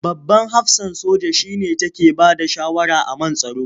Babban hafsan soja shi ne take bada shawara a man tsaro.